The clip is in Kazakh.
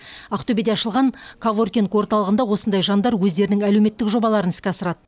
ақтөбеде ашылған коворкинг орталығында осындай жандар өздерінің әлеуметтік жобаларын іске асырады